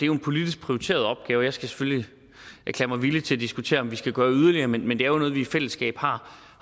jo en politisk prioriteret opgave jeg skal selvfølgelig erklære mig villig til at diskutere om vi skal gøre yderligere men men det er jo noget vi i fællesskab har